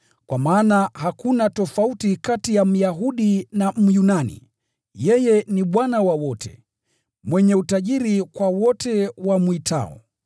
Kwa maana hakuna tofauti kati ya Myahudi na Myunani, yeye ni Bwana wa wote, mwenye utajiri kwa wote wamwitao.